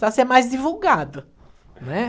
Precisa ser mais divulgado, não é?